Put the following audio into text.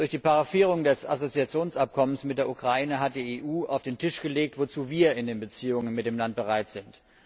Durch die Paraphierung des Assoziationsabkommens mit der Ukraine hat die EU auf den Tisch gelegt, wozu wir in den Beziehungen mit dem Land bereit sind.